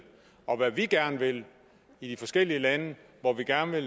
og hvad vi gerne vil i de forskellige lande hvor vi gerne vil